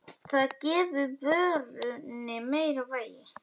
Það gefi vörunni meira vægi.